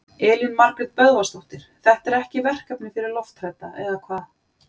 Elín Margrét Böðvarsdóttir: Þetta er ekki verkefni fyrir lofthrædda, eða hvað?